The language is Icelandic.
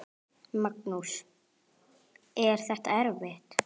Magnús: Er þetta erfitt?